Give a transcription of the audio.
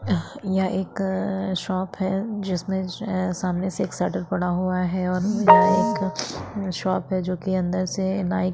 यहाँ एक शॉप है जिसमे सामने से एक शटर पड़ा हुआ है और एक शॉप है जो की अंदर से नाइ की--